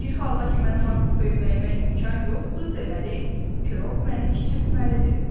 Bir halda ki, mənim artıq böyüməyə imkan yoxdur, deməli, piroq məni kiçiltməlidir.